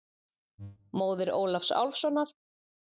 Móðir Ólafs Álfssonar.